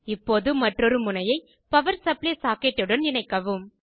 இப்போது மற்றொரு முனையை பவர் சப்ளை சாக்கெட்டுடன் இணைக்கவும்